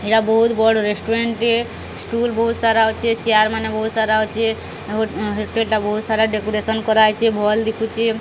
ଏଟା ବହୁତ ବଡ଼ ରେସଟୁଂରାଣ୍ଟ ଟିଏ ସ୍ଟୁଲ ବହୁତ ସାରା ଅଛି ଚେୟାର ମାନେ ବହୁତ ସାରା ଅଛି ହୋଟେଲ ଟା ବହୁତ ସାରା ଡେକୋରେସନ କରାହେଇଚି ଭଲ ଦିଶୁଚି।